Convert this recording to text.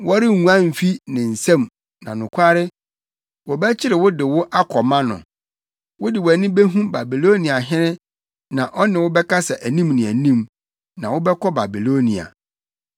Worenguan mfi ne nsam na nokware, wɔbɛkyere wo de wo akɔma no. Wode wʼani behu Babiloniahene na ɔne wo bɛkasa anim ne anim. Na wobɛkɔ Babilonia.